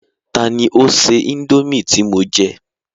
Tani ó se indomie tí mo jẹ?